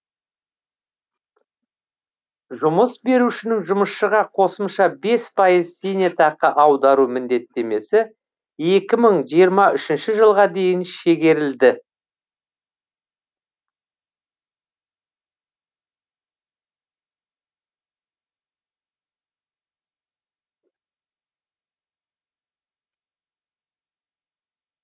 жұмыс берушінің жұмысшыға қосымша бес пайыз зейнетақы аудару міндеттемесі екі мың жиырма үшінші жылға дейін шегерілді